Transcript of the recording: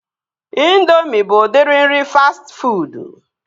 Indoomị bụ udiri nri fastị fuud